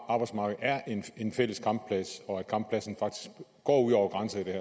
arbejdsmarked er en fælles kampplads og at kamppladsen faktisk går ud over grænser i det